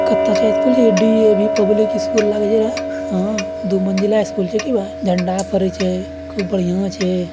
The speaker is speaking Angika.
डी.ए.वी. पब्लिक स्कूल लग ही रहा है | हाँ दु मंजिला स्कूल छे की बा झंडा फहरी छे खूब बढ़िया छे ।